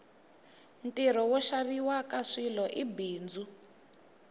ntirho wo xaviwaka swilo i bindzu